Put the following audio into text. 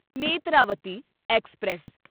Netravati express